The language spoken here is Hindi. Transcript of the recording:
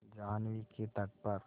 जाह्नवी के तट पर